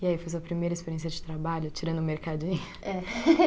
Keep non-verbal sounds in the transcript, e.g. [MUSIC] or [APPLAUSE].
E aí, foi sua primeira experiência de trabalho, tirando o mercadinho? [LAUGHS] É [LAUGHS]